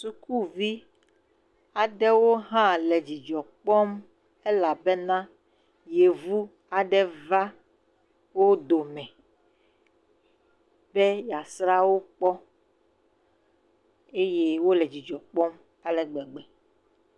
Sukuvi aɖewo le hã le dzidzɔ kpɔm elabena yevu aɖe va wo dome be yeasra wo kpɔ eye wole dzidzɔ kpɔm ale gbegbe.